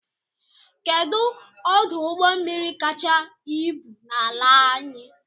Kedụ ọdụ ụgbọmmiri kacha ibu n'ala anyị?